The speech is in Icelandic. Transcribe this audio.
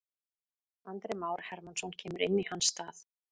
Andri Már Hermannsson kemur inn í hans stað.